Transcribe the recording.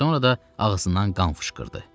Sonra da ağzından qan fışqırdı.